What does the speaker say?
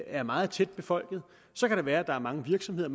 er meget tætbefolket så kan det være at der er mange virksomheder